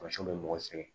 Masiw bɛ mɔgɔ sɛgɛn